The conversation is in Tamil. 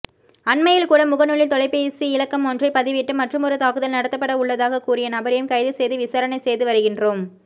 அண்மையில்கூட முகநூலில் தொலைபேசி இலக்கமொன்றை பதிவிட்டு மற்றுமொரு தாக்குதல் நடத்தப்படவுள்ளதாககூறிய நபரையும் கைது செய்து விசாரணை செய்து வருகின்றோம்